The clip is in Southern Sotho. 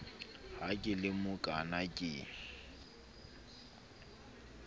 ha ke le mokaana ke